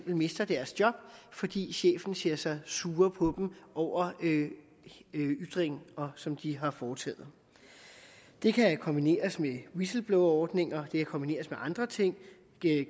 mister deres job fordi chefen ser sig sur på dem over ytringer som de har foretaget det kan kombineres med whistleblowerordninger det kan kombineres med andre ting